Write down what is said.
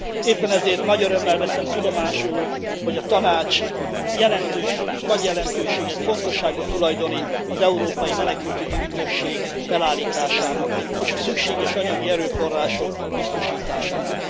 Éppen ezért nagy örömmel veszem tudomásul, hogy a Tanács nagy jelentőséget, fontosságot tulajdonít az európai menekültügyi ügynökség felállításának és a szükséges anyagi erőforrások biztosításának.